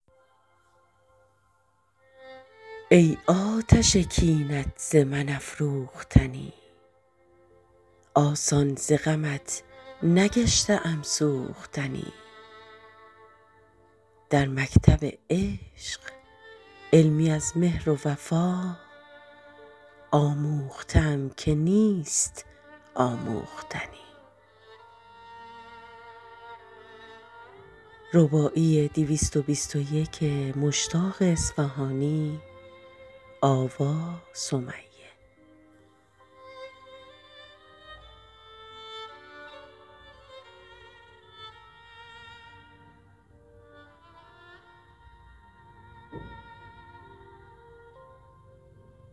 ای آتش کینت ز من افروختنی آسان ز غمت نگشته ام سوختنی در مکتب عشق علمی از مهر و وفا آموخته ام که نیست آموختنی